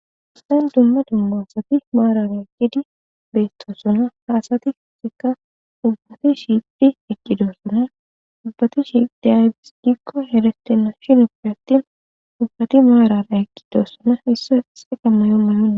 Ossen dumma dummoonsati maaran eqqidi beestossona haasati fisika ubbati shiiphi eqqidoossona ubbati shidiaybis gikko heretenna shinufi attin ubbati maarana eqqidoossona isse se qammayo may'ona.